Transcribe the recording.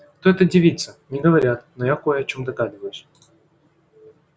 кто эта девица не говорят но я кое о чём догадываюсь